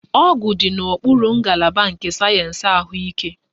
Ọgwụ dị n'okpuru ngalaba nke sayensị ahụike